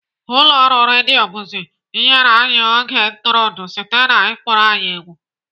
Ụlọ ọrụ redio Buzz nyere anyị oge ntụrụndụ site na ịkpọrọ anyị egwu.